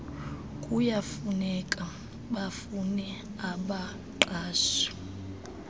kuyakufuneka bafune abaqashi